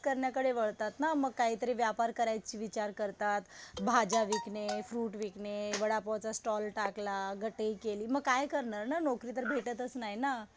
करण्याकरता वळतात ना. मग काहीतरी व्यापार करायचं विचार करतात. भाज्या विकणे, फ्रुट विकणे, वडापावचा स्टॉल टाकला, मग काय करणार ना. नोकरी तर भेटच नाही ना.